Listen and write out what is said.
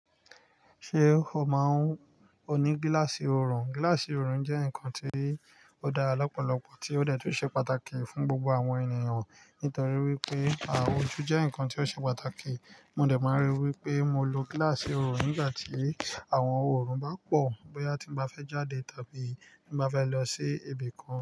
Ṣé o máa ń-- o ní gíláàsì òrùn? Gíláàsì òrùn jẹ́ nǹkan tí ó dára LLlọ́pọ̀lọpọ̀, tí ó dẹ̀ tún ṣe pàtàkì fún gbogbo àwọn ènìyàn nítorí wípé àwọn ojú jẹ́ ǹkan tí ó ṣe pàtàkì. Mo dẹ̀ máa ń rí i wípé mo lo gíláàsì òrùn nígbà tí àwọn òrùn bá pọ̀, bóyá tí mo bá fẹ́ jáde tàbí mo bá fẹ́ lọ sí ibi kan.